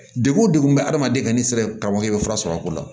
Degun wo degun bɛ adamaden ka n'i sera ka wali i bɛ fura sɔrɔ a ko la